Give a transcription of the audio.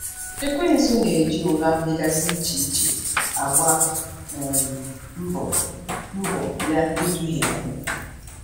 Ekwensu na-eji ụgha dịgasị iche iche agba um mbọ mbọ ya iduhie anyị.